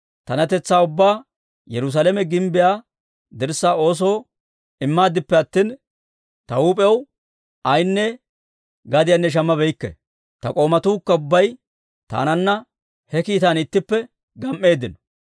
Taanatetsaa ubbaa Yerusaalame gimbbiyaa dirssaa oosoo immaaddippe attin, ta huup'ew ay gadiyanne shammabeykke. Ta k'oomatuukka ubbay taananna he kiitaan ittippe gam"eeddino.